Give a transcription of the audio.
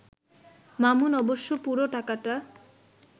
মামুন অবশ্য পুরো টাকাটা